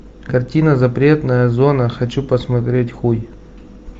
картина запретная зона хочу посмотреть хуй